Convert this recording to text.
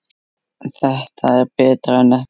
Þetta er betra en ekkert